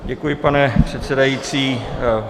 Děkuji, pane předsedající.